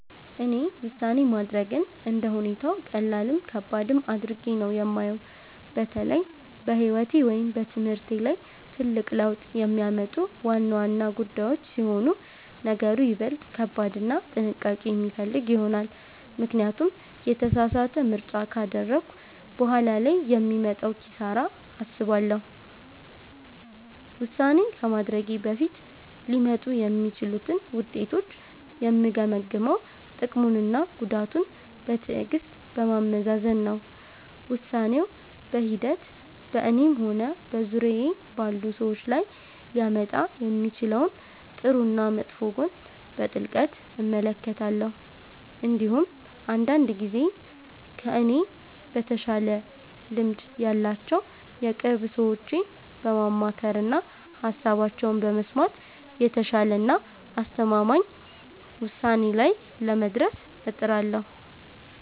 እኔ ውሳኔ ማድረግን እንደ ሁኔታው ቀላልም ከባድም አድርጌ ነው የማየው። በተለይ በሕይወቴ ወይም በትምህርቴ ላይ ትልቅ ለውጥ የሚያመጡ ዋና ዋና ጉዳዮች ሲሆኑ ነገሩ ይበልጥ ከባድና ጥንቃቄ የሚፈልግ ይሆናል፤ ምክንያቱም የተሳሳተ ምርጫ ካደረግኩ በኋላ ላይ የሚመጣውን ኪሳራ አስባለሁ። ውሳኔ ከማድረጌ በፊት ሊመጡ የሚችሉትን ውጤቶች የምገመግመው ጥቅሙንና ጉዳቱን በትዕግሥት በማመዛዘን ነው። ውሳኔው በሂደት በእኔም ሆነ በዙሪያዬ ባሉ ሰዎች ላይ ሊያመጣ የሚችለውን ጥሩና መጥፎ ጎን በጥልቀት እመለከታለሁ። እንዲሁም አንዳንድ ጊዜ ከእኔ በተሻለ ልምድ ያላቸውን የቅርብ ሰዎቼን በማማከርና ሃሳባቸውን በመስማት የተሻለና አስተማማኝ ውሳኔ ላይ ለመድረስ እጥራለሁ።